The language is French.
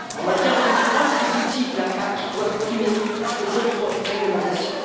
En matière de concurrence, les outils de la PAC doivent primer sur les autres réglementations.